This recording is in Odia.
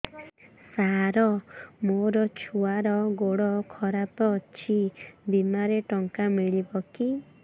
ସାର ମୋର ଛୁଆର ଗୋଡ ଖରାପ ଅଛି ବିମାରେ ଟଙ୍କା ମିଳିବ କି